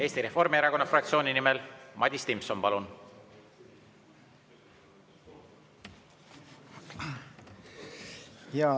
Eesti Reformierakonna fraktsiooni nimel Madis Timpson, palun!